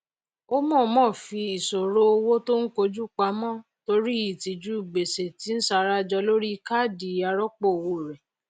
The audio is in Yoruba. ó mọọmọ fí ìṣòro owó tó ń koju pamọ torí ìtìjú gbèsè tí ń sarajọ lórí káàdì arọpò owó rẹ